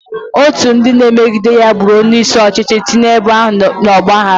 Otu ndị na-emegide ya gburu onye isi ọchịchị ahụ, tinye ebo ahụ n'ọgba aghara.